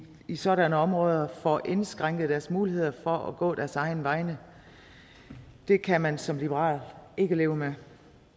i sådanne områder får indskrænket deres muligheder for at gå deres egne veje det kan man som liberal ikke leve med